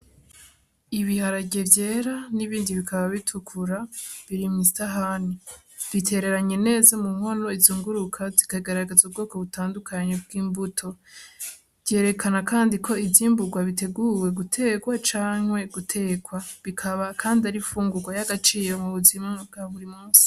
Ibiharage vyera n'ibindi bikaba bitukura birima isahani bitereranye neza mu nkono izunguruka zikagaragaza ubwoko butandukanye bw'imbuto, vyerekana kandi ko izimburwa biteguwe guterwa canke guterwa bikaba, kandi ari fungurwa y'agaciro mu buzima bwa burimwe.